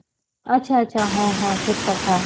ଆଚ୍ଛା ଆଛା ହଁ ହଁ ଠିକ କଥା